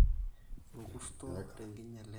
(orkurr`to) tenkinyala enye